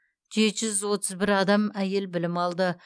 жеті жүз отыз бір адам әйел білім алды